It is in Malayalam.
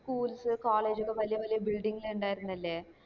schools college ലെ വല്യ വല്യ building ല് ഇണ്ടായിരുന്നില്ലേ